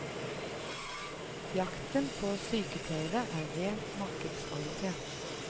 Jakten på sykepleiere er rent markedsorientert.